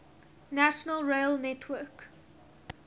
national rail network